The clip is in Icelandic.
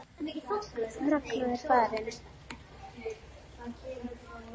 Ragna er farin.